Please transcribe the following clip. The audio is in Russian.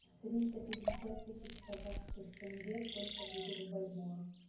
триста пятьдесят тысяч казахских тенге сколько будет в бальбоа